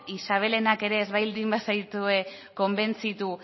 isabelenak ere ez baldin bazaitue konbentzitu